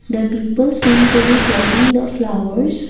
the people seem to be plucking the flowers.